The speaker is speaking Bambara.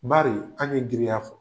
Bari anw ye giriya fɔ.